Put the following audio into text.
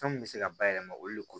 Fɛn min bɛ se ka bayɛlɛma olu le ko